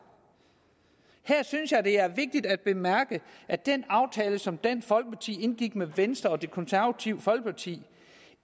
her synes jeg det er vigtigt at bemærke at den aftale som dansk folkeparti indgik med venstre og det konservative folkeparti